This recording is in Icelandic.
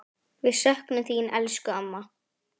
Við söknum þín, elsku amma.